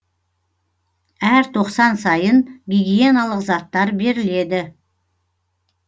әр тоқсан сайын гигиеналық заттар беріледі